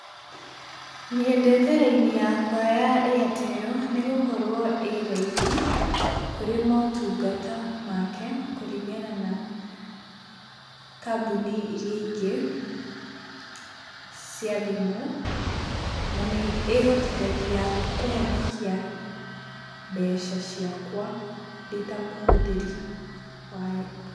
Nyendete raini yakwa ya Airtel, nĩ gũkorwo ĩ raithi kũrĩ motungata make, kũringana na kambuni iria ingĩ cia thimũ, na nĩ ĩhotithagia kũhonokia mbeca ciakwa ndĩ ta mũhũthĩri wayo.